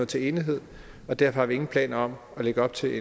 til enighed og derfor har vi ingen planer om at lægge op til